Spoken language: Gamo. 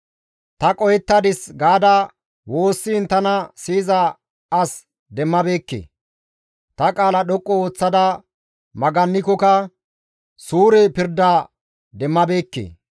Ta qohettadis gaada woossiin tana siyiza as demmabeekke; ta qaala dhoqqu ooththada magannikokka suure pirda demmabeekke.